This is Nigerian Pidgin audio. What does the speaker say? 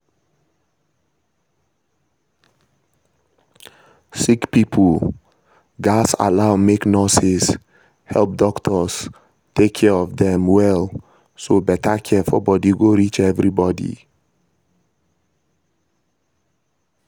sick pipo gats allow make nurses help doctors take care of them well so better care for body go reach everybody.